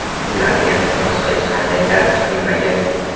Ularga inqiroz hech qanday ta’sir qilmagan.